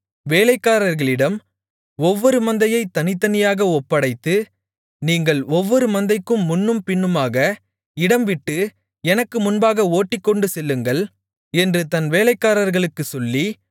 வேலைக்காரர்களிடம் ஒவ்வொரு மந்தையைத் தனித்தனியாக ஒப்படைத்து நீங்கள் ஒவ்வொரு மந்தைக்கும் முன்னும் பின்னுமாக இடம்விட்டு எனக்கு முன்னாக ஓட்டிக்கொண்டுசெல்லுங்கள் என்று தன் வேலைக்காரர்களுக்குச் சொல்லி